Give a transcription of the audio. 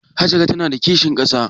Hajara ta na da kishin ƙasa?